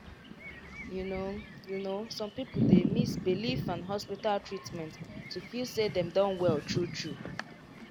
you know you know some people dey mix belief and hospital treatment to feel say dem don well true true.